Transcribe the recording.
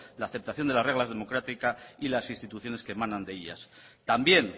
la aceptación de las reglas democráticas y de las instituciones que emanan de ella también